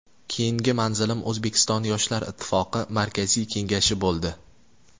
Keyingi manzilim O‘zbekiston Yoshlar ittifoqi Markaziy Kengashi bo‘ldi.